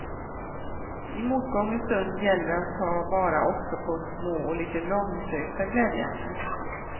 I motgångens stund gäller att ta vara också på små och lite långsökta glädjeämnen.